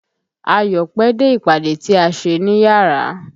Ayọ̀ pẹ́ dé ìpàdé tí a ṣe níyárà.